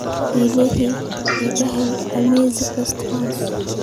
alexa iga hel amazon restaurants